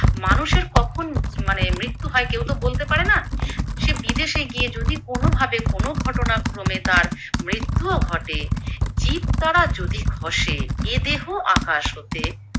মানুষের কখন মানে মৃত্যু হয় কেউতো বলতে পারে না, সে বিদেশে গিয়ে যদি কোনো ভাবে কোনো ঘটনাক্রমে তার মৃত্যুও ঘটে, জীব তারা যদি খসে এ দেহ আকাশ হতে